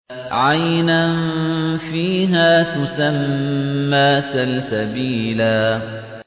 عَيْنًا فِيهَا تُسَمَّىٰ سَلْسَبِيلًا